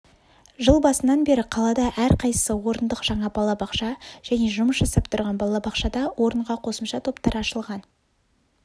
жыл басынан беріқалада әрқайсысы орындық жаңа балабақша және жұмыс жасап тұрған балабақшада орынға қосымша топтар ашылған